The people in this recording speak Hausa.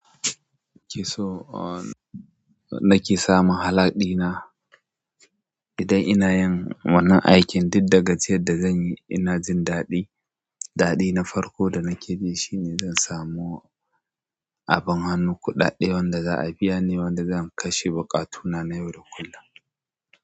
Kiso, uh, nake samun halaɗina idan ina yin wannan aikin, duk daga jiyan da zan yi, ina jin daɗi. Dadi na farko da nakiji shine zansamu. Ah abin hannu, kuɗaɗe wanda za a biya ni, wanda zan kashe buƙatuna na yau da kullum.